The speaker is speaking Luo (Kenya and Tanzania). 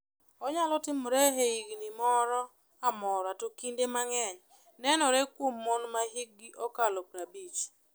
Onyalo timore e higni moro amora to kinde mang’eny nenore kuom mon ma hikgi okalo 50.